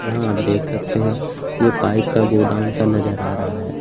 यहां आप देख सकते हैं ये पाइप का गोदाम सा नजर आ रहा है।